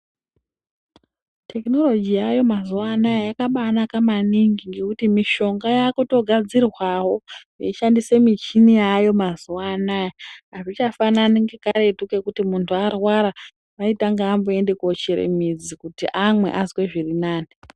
Tekinoroji yaayo mazuwa anaya yakabaa naka maningi ngekuti mishonga yakutogadzirwawo yeishandise michini yaako mazuwa anaa azvichanano ngekaretu kuti muntu arwara aitanga amboende kochere midzi kuti amwe azwe zviri nani.